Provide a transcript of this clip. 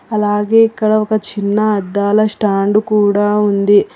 అలాగే ఇక్కడ ఒక చిన్న అద్దాల స్టాండ్ కూడా ఉంది.